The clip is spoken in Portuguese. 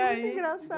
É muito engraçado.